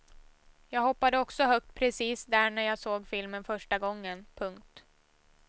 Jag hoppade också högt precis där när jag såg filmen första gången. punkt